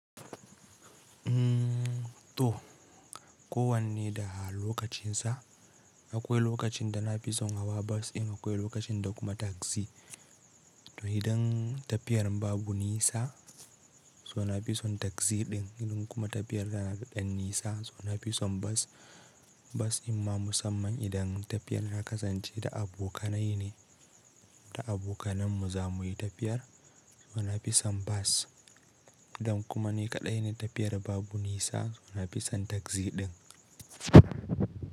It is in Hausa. To, ko wanne da lokacin sa. Akwai lokacin da na fi son hawa bas in akwai lokacin da kuma taksi. To idan tafiyar babu nisa, so na fi son taksi din idan kuma tafiyar yana da nisa suna fi son bas. Bas imma musamman idan tafiyar na kasance da abokanai ne, da abokanai mu zamuyi tafiyar so na fi son bas. Idan kuma ni kaɗai ne tafiyar babu nisa so na fi son taksi din.